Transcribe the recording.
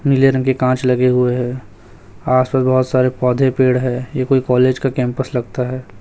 नीले रंग के कांच लगे हुए हैं आस पास बहोत सारे पौधे पेड़ है ये कोई कॉलेज का कैंपस लगता है।